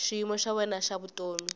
xiyimo xa wena xa vutomi